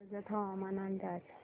कर्जत हवामान अंदाज